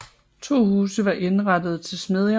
To huse var indrettede til smedjer